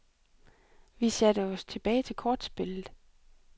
Vi satte os tilbage til kortspillet.